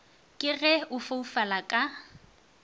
ke ge a foufala ka